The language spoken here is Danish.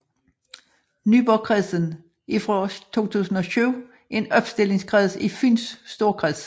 Nyborgkredsen er fra 2007 en opstillingskreds i Fyns Storkreds